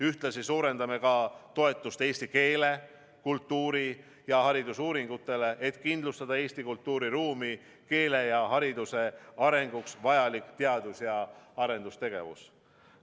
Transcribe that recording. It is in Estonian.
Ühtlasi suurendame ka toetust eesti keele, kultuuri ja hariduse uuringutele, et kindlustada Eesti kultuuriruumi, keele ja hariduse arenguks vajalik teadus- ja arendustegevus.